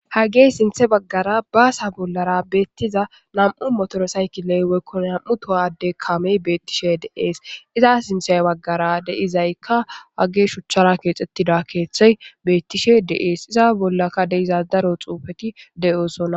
hagey sinthe baggara baasa bollara beettiza nam7u motoro sayki leyweykkon nam7u towade kame beettishe deees iza sinthey baggara deizaykka wage shuchchara keexxettida keeththey beettishe deees iza bollaka deizazdaro xuufeti de7oosona.